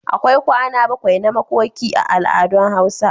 akwai kwana bakwai na makoki a al'adun hausa